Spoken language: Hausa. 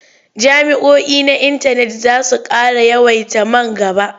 Jami'oi na intanet za su ƙara yawaita man gaba.